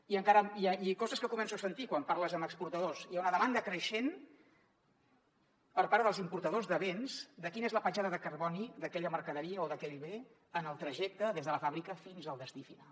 i coses que començo a sentir quan parles amb exportadors hi ha una demanda creixent per part dels importadors de béns de quina és la petjada de carboni d’aquella mercaderia o d’aquell bé en el trajecte des de la fàbrica fins al destí final